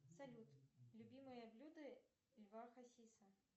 салют любимое блюдо льва хасиса